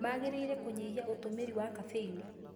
Mangĩrĩire kũnyihia ũtũmĩri wa caffeini.